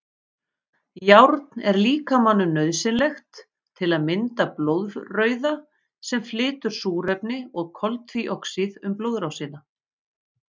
Járn er líkamanum nauðsynlegt til að mynda blóðrauða sem flytur súrefni og koltvíoxíð um blóðrásina.